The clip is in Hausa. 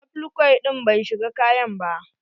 Applique din bai shiga kayan ba.